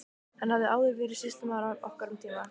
Hann hafði áður verið sýslumaður okkar um tíma.